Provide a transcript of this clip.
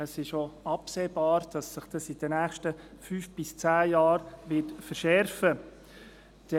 Es ist auch absehbar, dass sich dieses in den nächsten fünf bis zehn Jahren verschärfen wird.